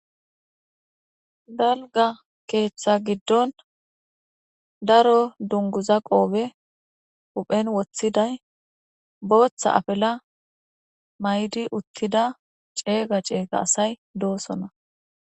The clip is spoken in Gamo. Dalga keeththa giddon daro dunguza qoobe uphen woththiday booththa apela may7di uttida ceega ceega asay doosona